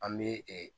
An bɛ